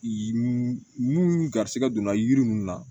Mun garisigɛ donna yiri ninnu na